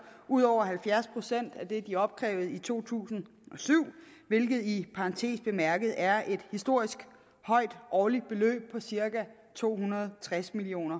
ud over halvfjerds procent af det de opkrævede i to tusind og syv hvilket i parentes bemærket er et historisk højt årligt beløb på cirka to hundrede og tres million